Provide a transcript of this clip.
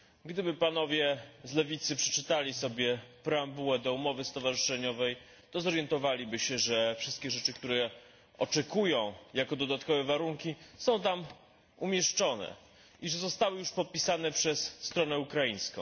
Gdyby Panowie z lewicy przeczytali sobie preambułę do umowy stowarzyszeniowej, to zorientowaliby się, że wszystkie rzeczy, których oczekują jako dodatkowe warunki, są tam umieszczone i że zostały już podpisane przez stronę ukraińską.